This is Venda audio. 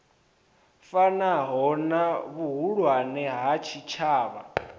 fanaho na vhuhulwane ha tshitshavha